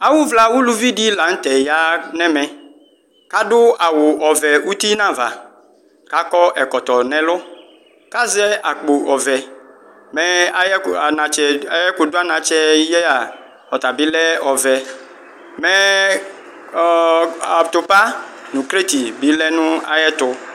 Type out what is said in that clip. awʋvla ʋlʋvidi la nʋtɛ yanɛmɛ adʋ awʋvɛ ʋtinava kakɔ ɛkɔtɔ nɛlʋ kazɛ akpo ɔvɛ mɛ ayʋ anatsɛ ayɛkʋdʋ anatsɛyɛa bilɛ ɔvɛ mɛ atʋpa NA bi lɛ nʋ ayɛtʋ